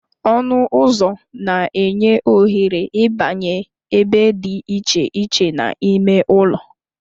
Ọnụ ụzọ na-enye ohere ịbanye ebe dị iche iche n'ime ụlọ